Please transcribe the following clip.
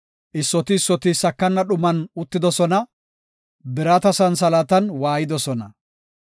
Issoti issoti sakana dhuman uttidosona; birata santhalaatan waayidosona.